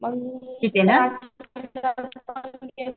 म्हणजे